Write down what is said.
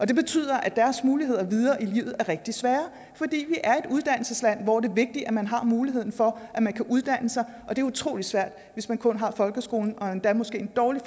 det betyder at deres muligheder videre i livet er rigtig svære fordi vi er et uddannelsesland hvor det vigtigt at man har muligheden for at man kan uddanne sig og det er utrolig svært hvis man kun har folkeskolens og endda måske en dårlig